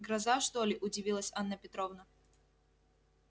гроза что ли удивилась анна петровна